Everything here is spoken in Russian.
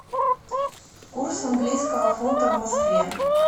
курс английского фунта в москве